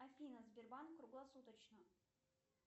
афина сбербанк круглосуточно